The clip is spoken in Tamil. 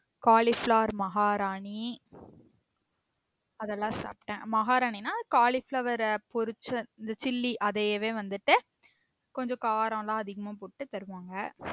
cauliflower மகாராணி அதெல்லாம் சாப்டேன் மகாராணினா cauliflower ஆஹ் பொரிச்ச அந்த chilly அதயவே வந்துட்டு கொஞ்சம் காரம்லம் அதிகமா போட்டு தருவாங்க